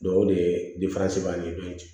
o de ye